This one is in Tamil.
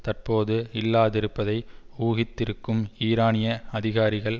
தற்போது இல்லாதிருப்பதை ஊகித்திருக்கும் ஈரானிய அதிகாரிகள்